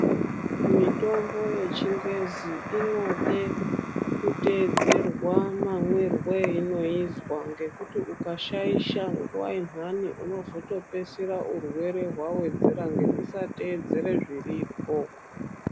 Mitombo yechingezi inode kutedzerwa mamirwo einoizwa ngekuti ungashaisha nguwa zviyani unozoto peisira urwere wawedzera nekusatewedzera zviripo.